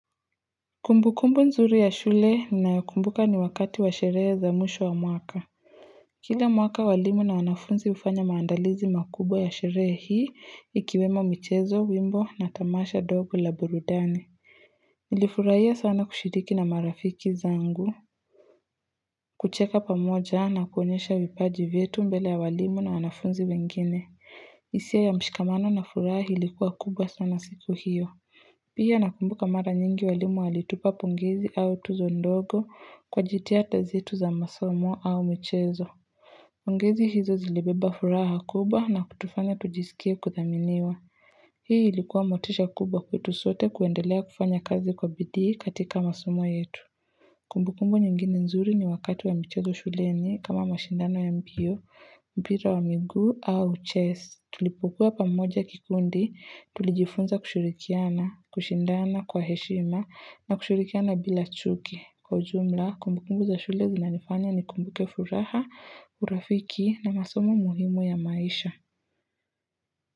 Kumbu kumbu nzuri ya shule ninayokumbuka ni wakati wa sherehe za mwisho wa mwaka Kila mwaka walimu na wanafunzi hufanya maandalizi makubwa ya sherehe hii ikiwemo michezo wimbo na tamasha dogo la burudani Nilifurahia sana kushiriki na marafiki zangu kucheka pamoja na kuonyesha vipaji vyetu mbele ya walimu na wanafunzi wengine hisia ya mshikamano na furaha ilikuwa kubwa sana siku hiyo Pia nakumbuka mara nyingi walimu walitupa pongezi au tuzo ndogo kwa jitihada zetu za masomo au mchezo. Pongezi hizo zilebeba furaha kubwa na kutufanya tujisikia kudhaminiwa. Hii ilikuwa motisha kubwa kwetu sote kuendelea kufanya kazi kwa bidhii katika masomo yetu. Kumbu kumbu nyingini nzuri ni wakati wa mchezo shuleni kama mashindano ya mbio, mbira wa miguu au chess. Tulipokuwa pamoja kikundi tulijifunza kushirikiana, kushindana kwa heshima na kushurikiana bila chuki kwa ujumla kumbu kumbu za shule zinanifanya ni kumbuke furaha urafiki na masomo muhimu ya maisha.